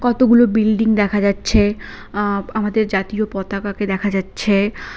কতগুলো বিল্ডিং দেখা যাচ্ছে আঃ আমাদের জাতীয় পতাকাকে দেখা যাচ্ছে।